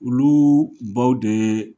Uluu baw dee